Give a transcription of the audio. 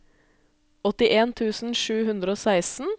åttien tusen sju hundre og seksten